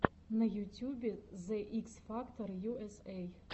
на ютюбе зе икс фактор ю эс эй